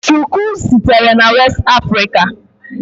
Shuku sitere na West Africa.